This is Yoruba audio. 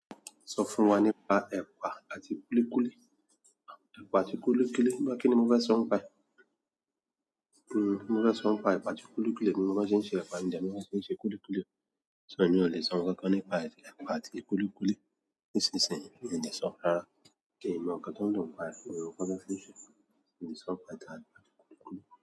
Sọ fún wa nípa ẹ̀pà àti kúlíkúlí. Ẹ̀pà àti kúlíkúlí, nípa kíni mo fẹ́ sọ nípa ẹ̀? Mo fẹ́ sọ nípa ẹ̀pà àti kúlíkúlí, èmi ò mọ bí wọ́n ṣe n ṣe ẹ̀pà mi ò dẹ̀ mọ bí wọ́n ṣe n ṣe kúlíkúlí o. Èmi ò lè sọ nkankan nípa ẹ̀pà àti kúlíkúlí nísinsìnyí, minò lè sọọ́ rárá. N mọ ǹkan tó ń dùn nípa rẹ̀, mi ò kọ́ bí wọ́n ṣé n ṣe, mi ò le sọ nípa ẹ̀pà àti kúlíkúlí.